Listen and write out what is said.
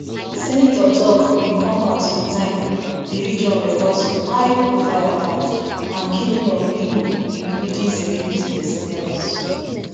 senator tok bin come at a time di region record some high profile attacks and killings of pipo including security personnel